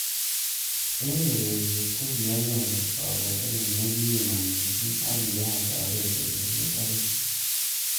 Eng ureriet ko kianyoru kakotenet nekiima missig ak kiyach abet eng ureriet akoi .